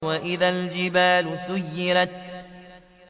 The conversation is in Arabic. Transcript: وَإِذَا الْجِبَالُ سُيِّرَتْ